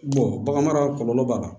bagan mara kɔlɔlɔ b'a la